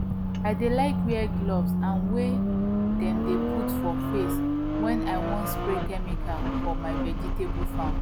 i dey like wear gooves and wey dem dey put for face when i wan spray chemical for my vegetable farm